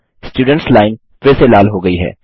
students line फिर से लाल हो गयी है